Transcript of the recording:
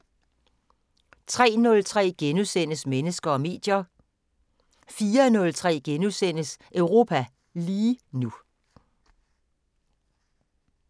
03:03: Mennesker og medier * 04:03: Europa lige nu *